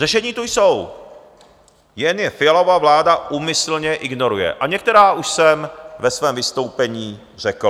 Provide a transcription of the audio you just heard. Řešení tu jsou, jen je Fialova vláda úmyslně ignoruje, a některá už jsem ve svém vystoupení řekl.